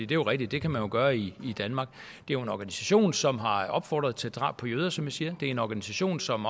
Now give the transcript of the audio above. det er rigtigt det kan man jo gøre i danmark det er en organisation som har opfordret til drab på jøder som jeg siger det er en organisation som